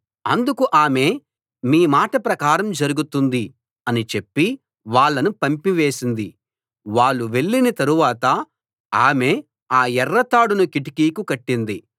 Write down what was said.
అందుకు ఆమె మీ మాట ప్రకారం జరుగుతుంది అని చెప్పి వాళ్ళను పంపివేసింది వాళ్ళు వెళ్ళిన తరువాత ఆమె ఆ ఎర్ర తాడును కిటికీకి కట్టింది